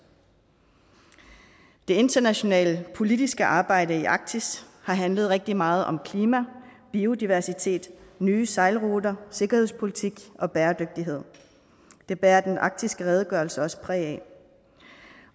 det internationale politiske arbejde i arktis har handlet rigtig meget om klima biodiversitet nye sejlruter sikkerhedspolitik og bæredygtighed det bærer den arktiske redegørelse også præg